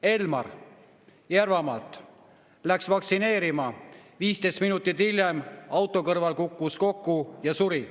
Elmar Järvamaalt läks vaktsineerima, 15 minutit hiljem kukkus auto kõrval kokku ja suri.